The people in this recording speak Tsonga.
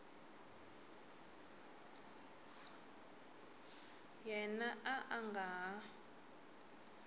yena a a nga ha